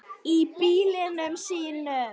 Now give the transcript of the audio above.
Í bílunum sínum.